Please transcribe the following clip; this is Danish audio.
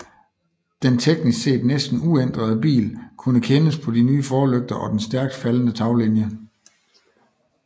Den teknisk set næsten uændrede bil kunne kendes på de nye forlygter og den stærkt faldende taglinje